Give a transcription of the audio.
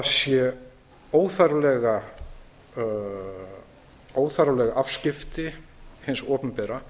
við teljum að það sé óþarfleg afskipti hins opinbera